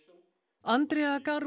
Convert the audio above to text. Andrea